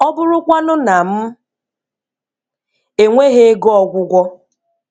Ọ bụrụkwanụ na m enweghị ego ọgwụgwọ?